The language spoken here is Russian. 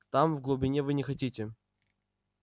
там в глубине вы не хотите